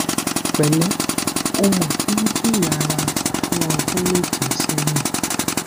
pẹlẹ o mo ti ń jìyà ra fún ọdún méje sẹyìn